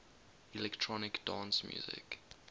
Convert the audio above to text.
electronic dance music